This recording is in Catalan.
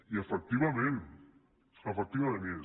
i efectivament efectivament hi és